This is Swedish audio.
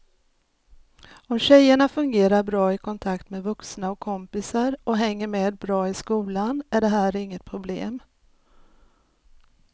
Om tjejerna fungerar bra i kontakt med vuxna och kompisar och hänger med bra i skolan är det här inget problem.